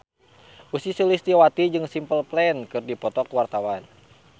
Ussy Sulistyawati jeung Simple Plan keur dipoto ku wartawan